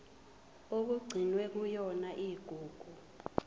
okugcinwe kuyona igugu